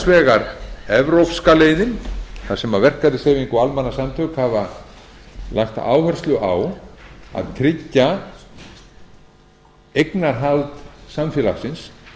vegar evrópska leiðin þar sem verkalýðshreyfing og almannasamtök hafa lagt áherslu á að tryggja eignarhald samfélagsins